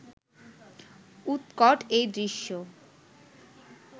উৎকট এই দৃশ্য